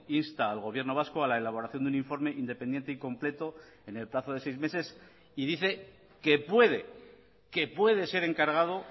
insta al gobierno vasco a la elaboración de un informe independiente y completo en el plazo de seis meses y dice que puede que puede ser encargado